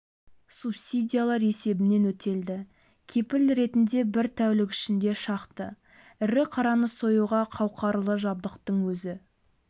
субсидиялар есебінен өтелді кепіл ретінде бір тәулік ішінде шақты ірі қараны союға қауқарлы жабдықтың өзі